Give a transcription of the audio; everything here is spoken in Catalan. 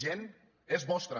gent és vostra